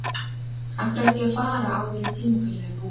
Af hverju ætti ég að fara áður en tímabilið er búið?